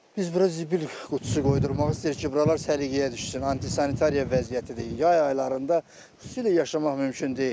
Biz bura zibil qutusu qoydurmaq istəyirik ki, buralar səliqəyə düşsün, antisantariya vəziyyətidir, yay aylarında xüsusilə yaşamaq mümkün deyil.